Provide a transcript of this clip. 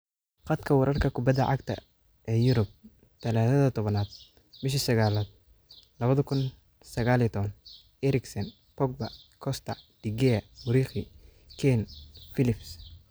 Khadka wararka kubbada cagta ee Yurub Talaadada Towanad bishi saqalad lawadha kun iyo saqal iyo tawan: Eriksen, Pogba, Costa, De Gea, Muriqi, Kean, Phillips